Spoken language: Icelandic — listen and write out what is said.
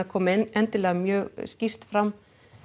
komi endilega mjög skýrt fram